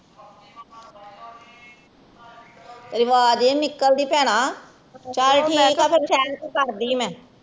ਆਵਾਜ ਨੀ ਨਿਕਲਦੀ ਭੈਣਾਂ ਚਲ ਠੀਕ ਆ ਫਿਰ ਕਰਦੀ ਮੈਂ